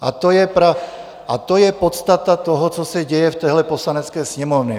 A to je podstata toho, co se děje v téhle Poslanecké sněmovně!